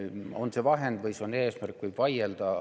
Kas see on vahend või eesmärk, selle üle võib vaielda.